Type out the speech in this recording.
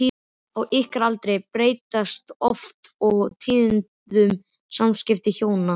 Á ykkar aldri breytast oft og tíðum samskipti hjóna.